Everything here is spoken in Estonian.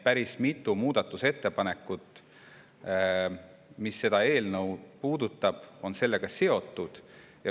Päris mitu muudatusettepanekut eelnõu kohta on sellega seotud.